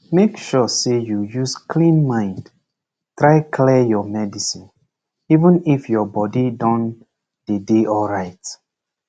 make sure say you use clean mind try clear your medicine even if your body don dey dey alright